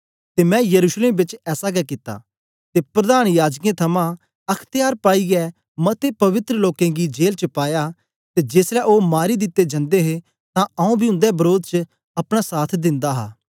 ते मैं यरूशलेम बेच ऐसा गै कित्ता ते प्रधान याजकें थमां अख्त्यार पाईयै मते पवित्र लोकें गी जेल च पाया ते जेसलै ओ मारी दिते जंदे हे तां आंऊँ बी उंदे वरोध च अपना साथ दिन्दा हा